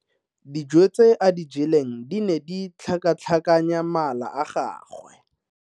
Dijo tse a di jeleng di ne di tlhakatlhakanya mala a gagwe.